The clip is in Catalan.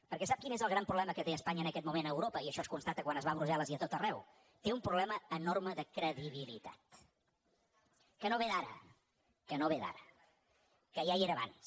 perquè sap quin és el gran problema que té espanya en aquest moment a europa i això es constata quan es va a brusselproblema enorme de credibilitat que no ve d’ara que no ve d’ara que ja hi era abans